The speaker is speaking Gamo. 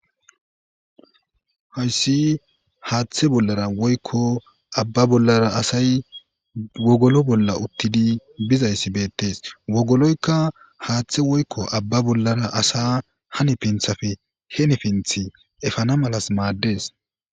Hayssi haaththe bollara woykko abba bollara asay wogolo bolla uttidi bizayssi beetees. wogoloykka haaththe woykko abba bollara asas hani pinthappe hini pinththa efana mala maadees.